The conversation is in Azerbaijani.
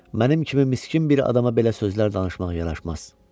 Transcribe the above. Mənim kimi miskin bir adama belə sözlər danışmaq yaraşmaz.